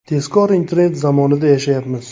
Tezkor internet zamonida yashayapmiz.